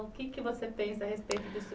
O que você pensa a respeito disso?